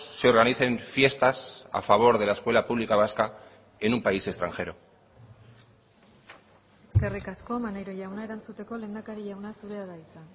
se organicen fiestas a favor de la escuela pública vasca en un país extranjero eskerrik asko maneiro jauna erantzuteko lehendakari jauna zurea da hitza